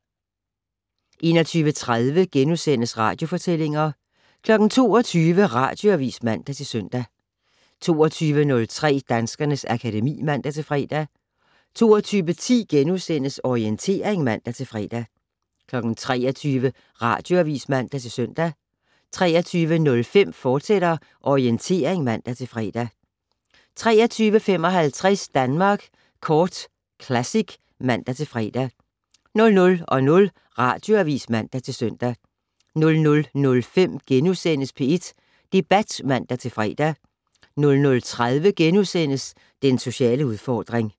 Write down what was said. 21:30: Radiofortællinger * 22:00: Radioavis (man-søn) 22:03: Danskernes akademi (man-fre) 22:10: Orientering *(man-fre) 23:00: Radioavis (man-søn) 23:05: Orientering, fortsat (man-fre) 23:55: Danmark Kort Classic (man-fre) 00:00: Radioavis (man-søn) 00:05: P1 Debat *(man-fre) 00:30: Den sociale udfordring *